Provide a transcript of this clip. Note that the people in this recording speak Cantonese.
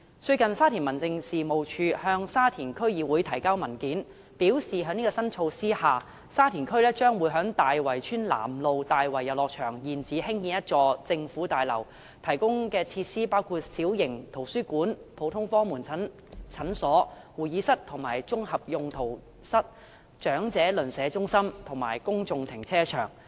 最近沙田民政事務處向沙田區議會提交文件，表示在這項新措施下，沙田區將會在大圍村南路大圍遊樂場現址興建一座政府大樓，提供的設施包括：小型圖書館、普通科門診診所、會議室及綜合用途室、長者鄰舍中心，以及公眾停車場。